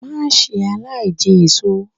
Má ṣe aláìjẹ èṣo!